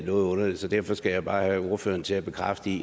noget underligt så derfor skal jeg bare have ordføreren til at bekræfte